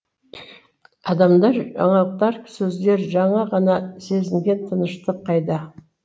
адамдар жаңалықтар сөздер жаңа ғана сезінген тыныштық қайда